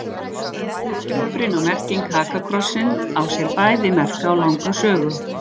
Uppruni og merking Hakakrossinn á sér bæði merka og langa sögu.